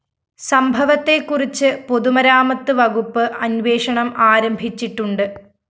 സംഭവത്തെക്കുറിച്ച് പൊതുമരാമത്ത് വകുപ്പ് അന്വേഷണം ആരംഭിച്ചിട്ടുണ്ട്